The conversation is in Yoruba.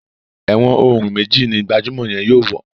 èwòn òrun méjì ní gbajumọ yén yóò wọ.